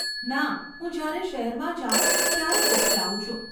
ના, હું જ્યારે શહેરમાં જાઉ ત્યારે બુક્સ લાવું છું.